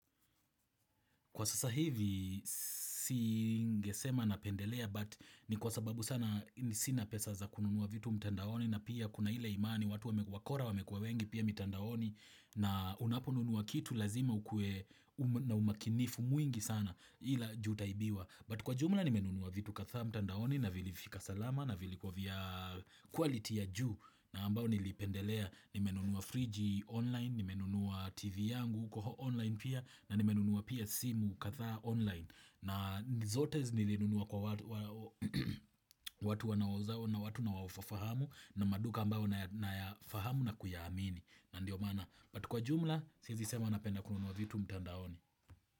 Kwa sasa hivi singesema napendelea but ni kwa sababu sana sina pesa za kununua vitu mtandaoni na pia kuna ile imani watu wakora wamekua wengi pia mtandaoni na unaponunua kitu lazima ukuwe na umakinifu mwingi sana juu taibiwa. But kwa jumla nimenunua vitu kadhaa mtandaoni na vilifika salama na vilikuwa vya quality ya juu na ambayo nilipendelea nimenunua friji online nimenunua tv yangu huko online pia na nimenunua pia simu kadhaa online na zote nilinunua kwa watu wanauzao na watu nawa fahamu na maduka ambao nayafahamu na kuyaamini na ndio maana but kwa jumla siezi sema napenda kununua vitu mtandaoni.